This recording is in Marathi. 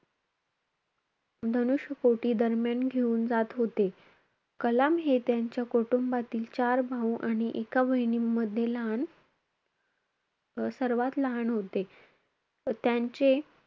धनुष्य कोटी दरम्यान घेऊन जात होते. कलाम हे त्यांच्या कुटुंबातील चार भाऊ आणि एका बहिणीमध्ये लहान सर्वात लहान होते. त्यांचे,